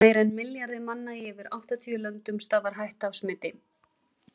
Meira en milljarði manna í yfir áttatíu löndum stafar hætta af smiti.